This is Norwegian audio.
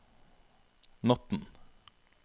natten